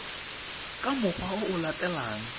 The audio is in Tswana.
ka mokgwa o o latelang